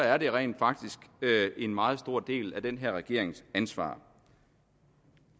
er det rent faktisk en meget stor del af den her regerings ansvar